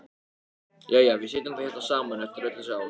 Jæja, við sitjum þá hérna saman eftir öll þessi ár.